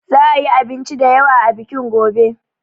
Za a yi abinci da yawa a bikin gobe.